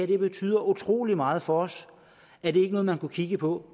her betyder utrolig meget for os er det ikke noget man kunne kigge på